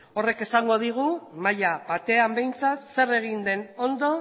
horrek esango digu maila batean behintzat zer egin den ondo